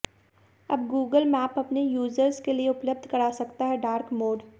अब Google map अपने users के लिए उपलब्ध करा सकता है डार्क मोड